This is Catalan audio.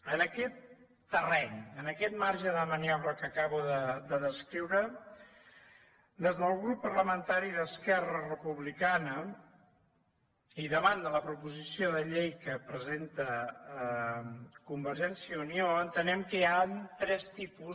en aquest terreny en aquest marge de maniobra que acabo de descriure des del grup parlamentari d’esquerra republicana i davant de la proposició de llei que presenta convergència i unió entenem que hi han tres tipus